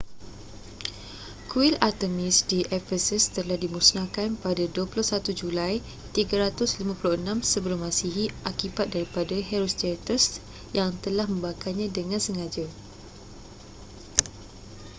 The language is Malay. kuil artemis di ephesus telah dimusnahkan pada 21 julai 356 sm akibat daripada herostratus yang telah membakarnya dengan sengaja